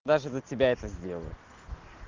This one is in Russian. даже для тебя это сделаю